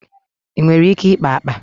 Ị nwere ike ikpa akpa?